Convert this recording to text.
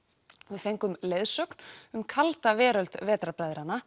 við fengum leiðsögn um kalda veröld